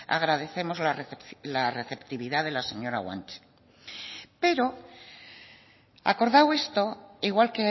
agradecemos la receptividad de la señora guanche pero acordado esto igual